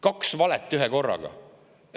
Kaks valet ühekorraga!